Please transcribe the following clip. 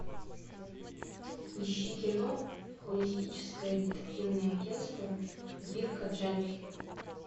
ищи кино холистическое детективное агентство дирка джентли